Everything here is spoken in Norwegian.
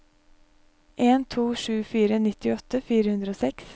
en to sju fire nittiåtte fire hundre og seks